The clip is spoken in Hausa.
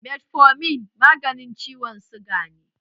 Metformin maganin ciwon suga ne